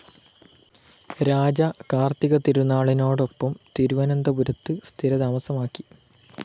രാജ കാർത്തിക തിരുനാളിനോപ്പം തിരുവനന്തപുരത്ത് സ്ഥിരതാമസമാക്കി.